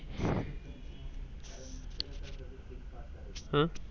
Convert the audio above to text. हम्म